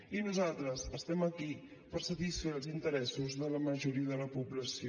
i nosaltres estem aquí per satisfer els interessos de la majoria de la població